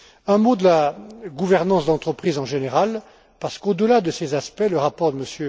Un mot concernant la gouvernance d'entreprise en général, parce qu'au delà de ces aspects, le rapport de